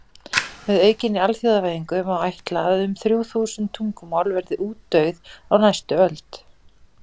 Með aukinni alþjóðavæðingu má ætla að um þrjú þúsund tungumál verði útdauð á næstu öld.